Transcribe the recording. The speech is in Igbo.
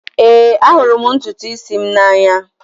Ee, ahụrụ m ntutu isi m n'anya.